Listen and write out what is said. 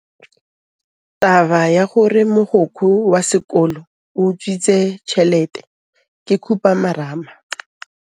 Taba ya gore mogokgo wa sekolo o utswitse tšhelete ke khupamarama.